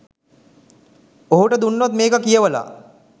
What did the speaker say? ඔහුට දුන්නොත් මේක කියවලා